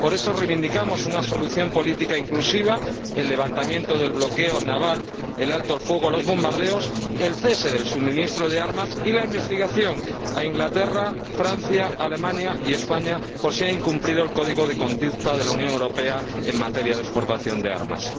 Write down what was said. Por eso reivindicamos una solución política inclusiva, el levantamiento del bloqueo naval, el alto el fuego, el cese de los bombardeos, el cese del suministro de armas y la investigación del Reino Unido, Francia, Alemania y España, por si han incumplido el Código de Conducta de la Unión Europea en materia de exportación de armas.